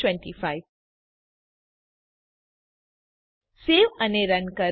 save run